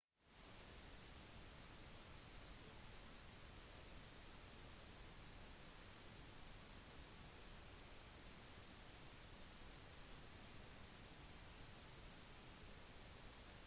det etniske armenske nagorno-karabakh-området i aserbajdsjan startet krigføring mot azeris i 1994